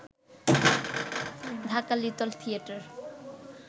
Dhaka little theatre